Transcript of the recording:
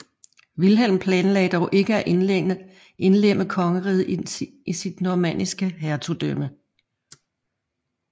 Vilhelm planlagde dog ikke at indlemme kongeriget i sit normanniske hertugdømme